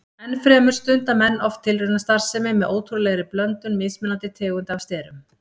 Ennfremur stunda menn oft tilraunastarfsemi með ótrúlegri blöndun mismunandi tegunda af sterum.